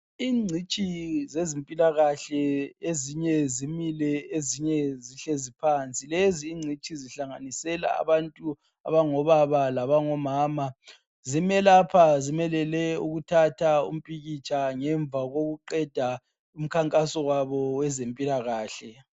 Ingcitshi zezimpilakahle ezinye zimile, ezinye zihlezi phansi. Lezi ingcitshi zihlanganisela abantu abangobaba labangomama. Zimelapha zimelele ukuthatha umpikitsha ngemva kokuqeda umkhankaso wabo weze mpilakahle.